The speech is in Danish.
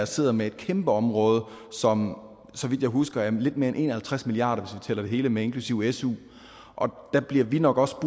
sidder med et kæmpe område som så vidt jeg husker er lidt mere end en og halvtreds milliarder hvis tæller det hele med inklusive su og der bliver vi nok også